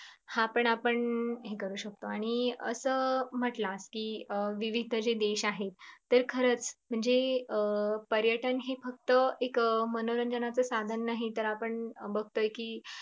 हा पण आपण हे करू शकतो आणि असं मटला कि विविध जे देश आहेत तर खरच म्हणजे अं पर्यटन हे फक्त एक मनोरंजनाचं साधन नाही तर आपण बगतोय कि